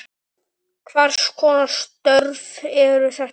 Hvers konar störf eru þetta?